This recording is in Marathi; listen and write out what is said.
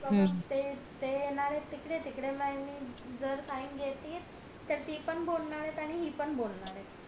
ते ते येणार येत तिकडे तिकडे sign जर sign घेतली तर ती पण बोलणार ये आणि हि पण बोलणार ये